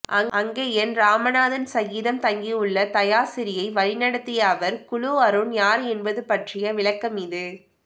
அங்கயன் இராமநாதன் சகிதம் தங்கியுள்ள தயாசிறியை வழிநடத்திய ஆவர் குழு அருண் யார் என்பது பற்றிய விளக்கமிது